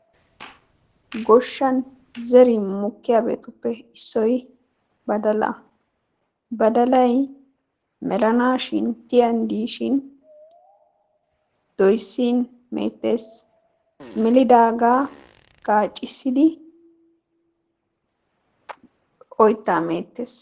Goshshan zerin mokkiyabatuppe issoy badalaa, badalay melanaashin tiyan diishin doyissin meettes, melidaagaa gaaccissidi oyittaa meettes.